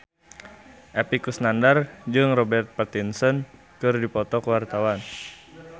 Epy Kusnandar jeung Robert Pattinson keur dipoto ku wartawan